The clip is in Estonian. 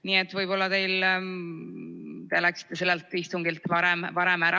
Nii et võib-olla te läksite sellelt istungilt varem ära.